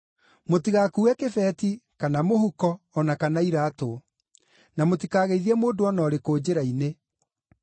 Mũtigakuue kĩbeti, kana mũhuko, o na kana iraatũ; na mũtikageithie mũndũ o na ũrĩkũ njĩra-inĩ.